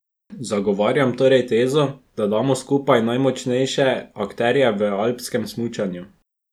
Zagovarjam torej tezo, da damo skupaj najmočnejše akterje v alpskem smučanju.